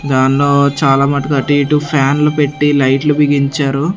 దాన్లో చాలా మటుకు అటు ఇటు ఫ్యాన్లు పెట్టి లైట్లు బిగించారు.